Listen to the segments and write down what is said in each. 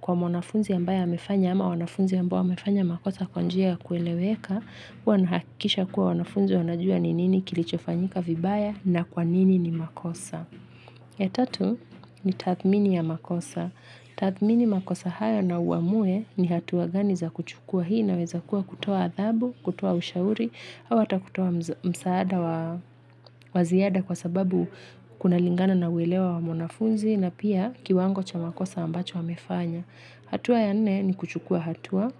kwa mwanafunzi ambaye amefanya ama wanafunzi ambao wamefanya makosa kwa njia ya kueleweka. Huwa nahakikisha ya kuwa wanafunzi wanajua ni nini kilichofanyika vibaya na kwa nini ni makosa. Ya tatu ni tathmini ya makosa. Tathmini makosa haya na uamue ni hatua gani za kuchukua hii inaweza kuwa kutoa adabu, kutoa ushauri, au ata kutoa msaada wa wa ziada kwa sababu kunalingana na uelewa wa wanafunzi na pia kiwango cha makosa ambacho amefanya. Hatua ya nne ni kuchukua hatua.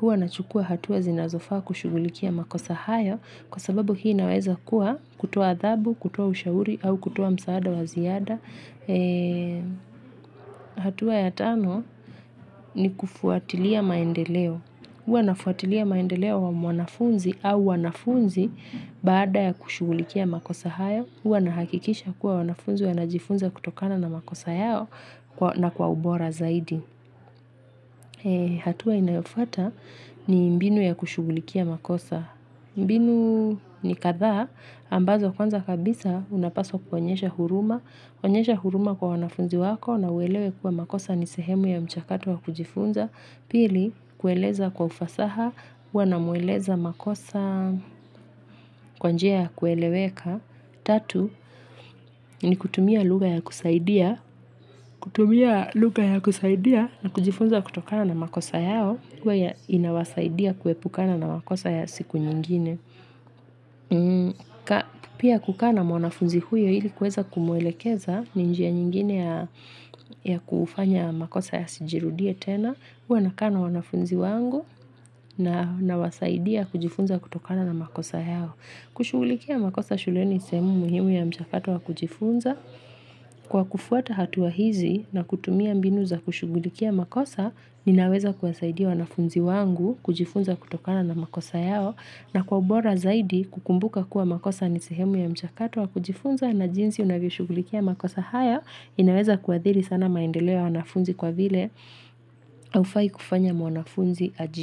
Huwa nachukua hatua zinazofaa kushugulikia makosa hayo kwa sababu hii inaweza kuwa kutoa adhabu, kutoa ushauri au kutoa msaada wa ziada. Hatua ya tano ni kufuatilia maendeleo. Huwa nafuatilia maendeleo wa mwanafunzi au wanafunzi baada ya kushugulikia makosa hayo. Huwa nahakikisha kuwa wanafunzi wanajifunza kutokana na makosa yao na kwa ubora zaidi. Hatua inayofuata ni mbinu ya kushugulikia makosa. Mbinu ni kadhaa ambazo kwanza kabisa unapaswa kuonyesha huruma. Kuonyesha huruma kwa wanafunzi wako na uelewe kuwa makosa ni sehemu ya mchakato wa kujifunza. Pili, kueleza kwa ufasaha, huwa namueleza makosa kwa njia ya kueleweka. Tatu, ni kutumia lugha ya kusaidia. Kutumia lugha ya kusaidia na kujifunza kutokana na makosa yao. Kuwa ya inawasaidia kuepukana na makosa ya siku nyingine. Pia kukaa na mwanafunzi huyo ili kuweza kumwelekeza ni njia nyingine ya kufanya makosa yasijirudie tena. Huwa nakaa na wanafunzi wangu na nawasaidia kujifunza kutokana na makosa yao. Kushugulikia makosa shuleni ni sehemu muhimu ya mchakato wa kujifunza. Kwa kufuata hatua hizi na kutumia mbinu za kushugulikia makosa ninaweza kuwasaidia wanafunzi wangu kujifunza kutokana na makosa yao na kwa ubora zaidi kukumbuka kuwa makosa ni sehemu ya mchakato wa kujifunza na jinsi unavyoshughulikia makosa haya inaweza kuathiri sana maendeleo ya wanafunzi kwa vile haufai kufanya mwanafunzi ajidunishe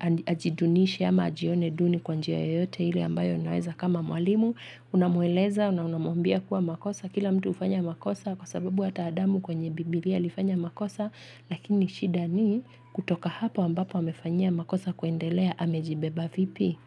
ama ajidunishe ama ajione duni kwa njia yoyote ile ambayo unaweza kama mwalimu unamueleza, unamwambia kuwa makosa kila mtu hufanya makosa kwa sababu hata Adamu kwenye bibilia alifanya makosa lakini shida ni kutoka hapo ambapo amefanyia makosa kuendelea amejibeba vipi.